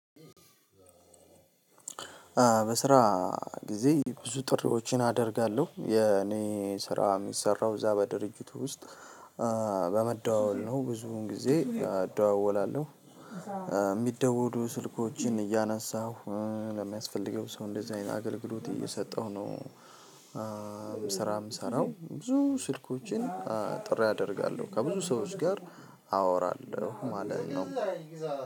በስራ ጊዜ ብዙ ጥሪዎችን አደርጋለሁ የኔ ስራ የሚሰራው እዛ በድርጅቱ ውስጥ በመደዋወል ነው። ብዙን ጊዜ አደዋወላለሁ። የሚደወሉ ስልኮችን እያነሳሁ ለሚያስፈልገው ሰው እንደዚህ አይነት አገልግሎት እየሰጠሁ ነው። ስራ የምሰራው ብዙ ስልኮችን። ጥሪ አደርጋለሁ ከብዙ ሰዎች ጋር አወራለሁ ማለት ነው።